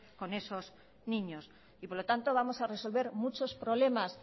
con esos niños y por lo tanto vamos a resolver muchos problemas